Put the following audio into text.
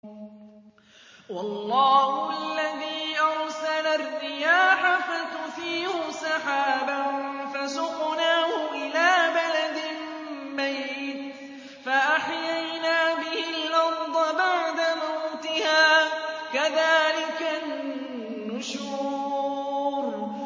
وَاللَّهُ الَّذِي أَرْسَلَ الرِّيَاحَ فَتُثِيرُ سَحَابًا فَسُقْنَاهُ إِلَىٰ بَلَدٍ مَّيِّتٍ فَأَحْيَيْنَا بِهِ الْأَرْضَ بَعْدَ مَوْتِهَا ۚ كَذَٰلِكَ النُّشُورُ